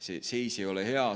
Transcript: See seis ei ole hea.